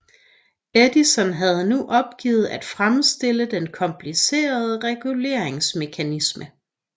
Edison havde nu opgivet at fremstille den komplicerede reguleringsmekanisme